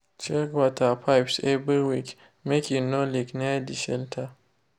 check water pipes every week make e no leak near de shelter.